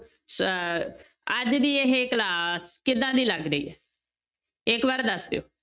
ਸ~ ਅੱਜ ਦੀ ਇਹ class ਕਿੱਦਾਂ ਦੀ ਲੱਗ ਰਹੀ ਹੈ, ਇੱਕ ਵਾਰ ਦੱਸ ਦਿਓ।